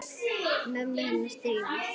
Mömmu hennar Drífu?